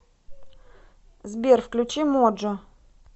сбер включи моджо